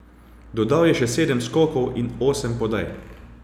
Dodal je še sedem skokov in osem podaj.